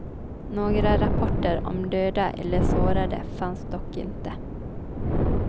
Några rapporter om döda eller sårade fanns dock inte.